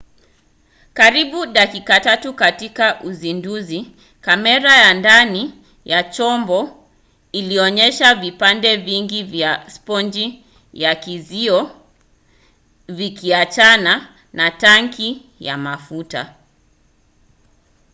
karibu dakika 3 katika uzinduzi kamera ya ndani ya chombo ilionyesha vipande vingi vya sponji ya kizio vikiachana na tanki ya mafuta